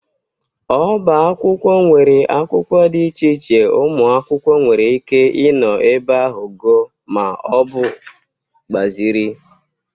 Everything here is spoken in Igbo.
Ọba akwụkwọ nwere akwụkwọ dị iche iche ụmụ akwụkwọ nwere ike ịnọ ebe ahụ gụọ ma ọ bụ gbazịrị.